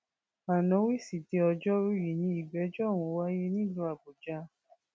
ana wísíde ọjọrùú yìí ni ìgbẹjọ ọhún wáyé nílùú àbújá